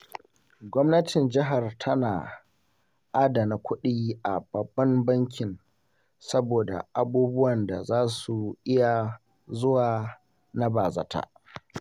Gwamnatin jihar tana adana kuɗi a Babban Bankin saboda abubuwan da za su iya zuwa na bazata.